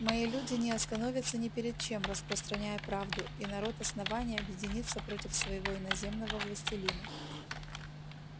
мои люди не остановятся ни перед чем распространяя правду и народ основания объединится против своего иноземного властелина